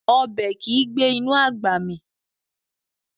Ọbẹ̀ kìí gbé inú àgbà mì